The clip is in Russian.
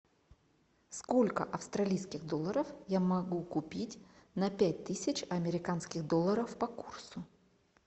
сколько австралийских долларов я могу купить на пять тысяч американских долларов по курсу